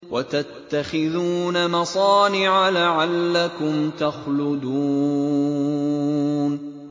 وَتَتَّخِذُونَ مَصَانِعَ لَعَلَّكُمْ تَخْلُدُونَ